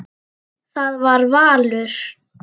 Það var valur.